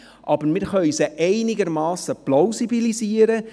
Aber mit Erfahrungswerten können wir diese einigermassen plausibilisieren.